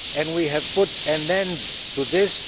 We have put an end to this.